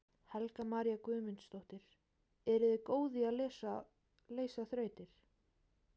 Helga María Guðmundsdóttir: Eruð þið góð í að leysa þrautir?